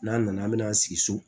N'an nana an bɛn'an sigi so